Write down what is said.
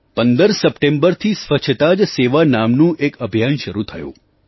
15 સપ્ટેમ્બરથી સ્વચ્છતા જ સેવા નામનું એક અભિયાન શરૂ થયું